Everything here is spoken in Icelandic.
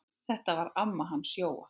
Þetta var amma hans Jóa.